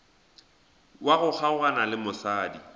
wa go kgaogana le mosadi